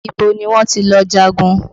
Ibo ni wọ́n ti lọ jagun?